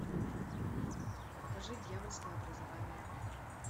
покажи дьявольское образование